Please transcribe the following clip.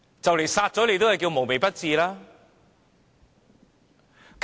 這樣殺人也算"無微不至"。